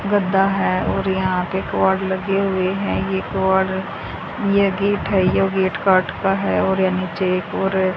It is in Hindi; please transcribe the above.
गद्दा है और यहां पे किवाड लगे हुए हैं यह किवाड यह गेट है यह गेट काठ का है और यहां नीचे एक और --